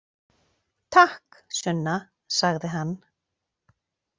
Takk, Sunna, sagði hann.